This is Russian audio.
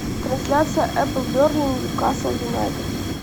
трансляция апл бернли ньюкасл юнайтед